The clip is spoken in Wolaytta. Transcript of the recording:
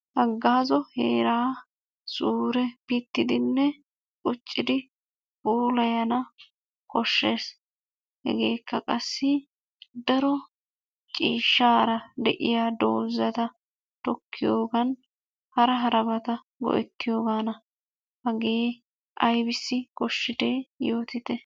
Hagazzo heeraa zuure pittidinne quccidi puulayana koshshees. Hegekka qassi daro ciishshara de'iyaa doozaa tokkiyoogan hara harabata go"erriyoogana. Hagee aybissi koshshide yootite?